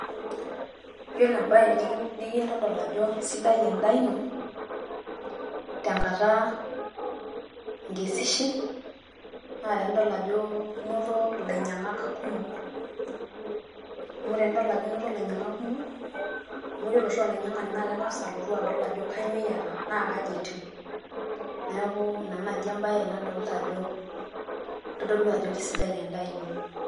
Yiolo embae nikitodol ajo keisidai endaa ino tenkata inkesishie, naa tenidol ajo inoto ilainyiang`ak kumok amu tenedol ajo inoto ilainyiang`ak kumok amu ore oshi olainyia`ani na keng`as adol ajo kainyioo iyata, naa kaji etiu. Niaku ina naaji embae ai nadolita ajo todolu ajo keisidai endaa ino.